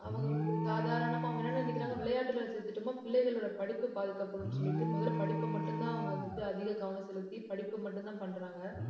அவங்க ஒரு சாதாரணமா, அவங்க என்ன நினைக்கிறாங்க விளையாட்டுல சேர்த்துட்டோம்ன்னா பிள்ளைகளோட படிப்பு பாதிக்கப்படும்ன்னு சொல்லிட்டு, முதல்ல படிப்பை மட்டும்தான், அவங்க வந்துட்டு அதிக கவனம் செலுத்தி படிப்பை மட்டும்தான் பண்றாங்க